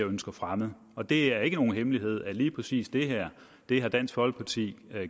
ønsker fremmet og det er ikke nogen hemmelighed at lige præcis det her har dansk folkeparti